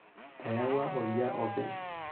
Eyawua oldia opi.